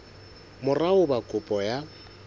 mora ho ba kopo ya